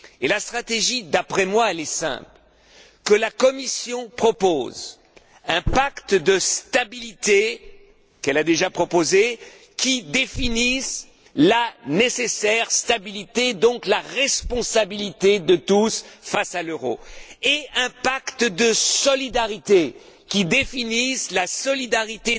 La stratégie, d'après moi, est simple que la Commission propose un pacte de stabilité, qu'elle a déjà proposé, qui définisse la nécessaire stabilité, donc la responsabilité de tous face à l'euro, et un pacte de solidarité qui définisse la solidarité